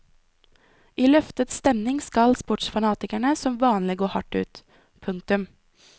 I løftet stemning skal sportsfanatikerne som vanlig gå hardt ut. punktum